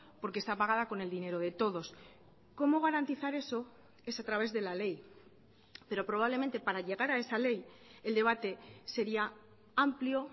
porque está pagada con el dinero de todos cómo garantizar eso es a través de la ley pero probablemente para llegar a esa ley el debate sería amplio